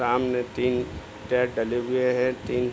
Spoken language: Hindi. सामने तीन टायर डले हुए हैं तीन --